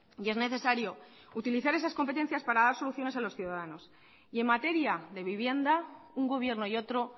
y es necesario utilizar esas competencias para dar soluciones a los ciudadanos y en materia de vivienda un gobierno y otro